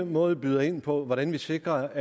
måde byder ind på hvordan vi sikrer